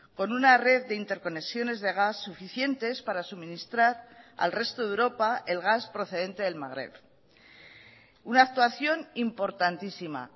con una red de interconexiones de gas suficientes para suministrar al resto de europa el gas procedente del magreb una actuación importantísima